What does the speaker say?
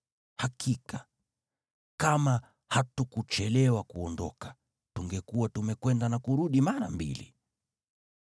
Hakika, kama hatukuchelewa kuondoka, tungekuwa tumekwenda na kurudi mara mbili.”